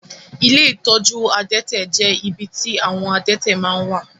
Ilé ìtọ́jú adẹ́tẹ̀ jẹ ibì tí àwọn adẹ́tẹ̀ máa n wà.